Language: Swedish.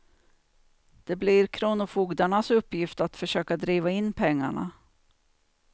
Det blir kronofogdarnas uppgift att försöka driva in pengarna.